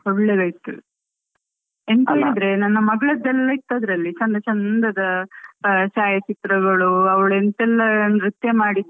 ಒಳ್ಳೆದಾಯ್ತು ಎಂತ ಹೇಳಿದ್ರೆ ,ನನ್ನ ಮಗಳದ್ದೆಲ್ಲ ಇತ್ತು ಅದ್ರಲ್ಲಿಚಂದ ಚಂದದ ಛಾಯಾ ಚಿತ್ರಗಳು, ಅವಳು ಎಂತೆಲ್ಲ ನೃತ್ಯ ಮಾಡಿದ್ದು.